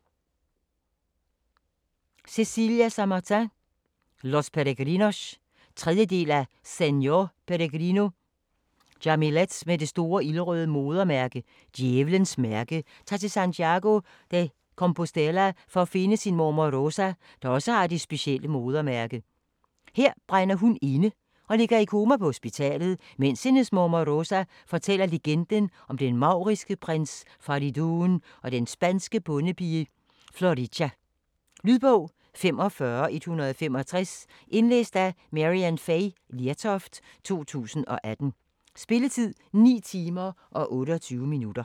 Samartin, Cecilia: Los Peregrinos 3. del af Señor Peregrino. Jamilet med det store ildrøde modermærke, 'Djævlens mærke', tager til Santiago de Compostela for at finde sin mormor Rosa, der også har det specielle modermærke. Her brænder hun inde, og ligger i koma på hospitalet, mens hendes mormor Rosa fortæller legenden om den mauriske prins Faridoon og den spanske bondepige Florica. Lydbog 45165 Indlæst af Maryann Fay Lertoft, 2018. Spilletid: 9 timer, 28 minutter.